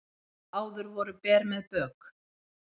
Áður voru ber með bök